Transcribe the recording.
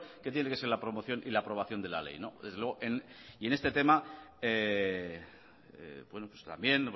que tiene que ser la promoción y la aprobación de la ley desde luego y en este tema bueno pues también